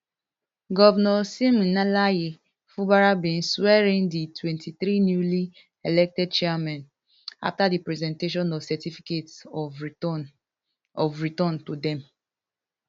govnor siminalayi fubara bin swearin di twenty-three newly elected chairmen afta di presentation of certificates of return of return to dem